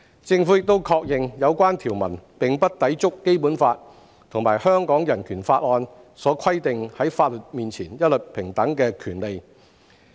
政府亦確認，有關條文並不抵觸《基本法》和香港人權法案所規定在法律面前一律平等的權利。